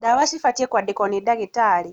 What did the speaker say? Ndawa cibatiĩ kwandikwo nĩ ndagĩtarĩ